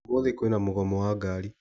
Ũmũthĩ kwĩna mũgomo wa ngari.